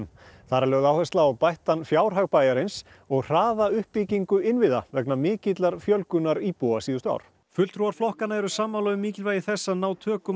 þar er lögð áhersla á bættan fjárhag bæjarins og hraða uppbyggingu innviða vegna mikillar fjölgunar íbúa á síðustu árum fulltrúar flokkanna eru sammála um mikilvægi þess að ná tökum